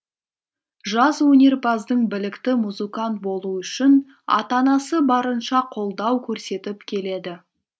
жас өнерпаздың білікті музыкант болуы үшін ата анасы барынша қолдау көрсетіп келеді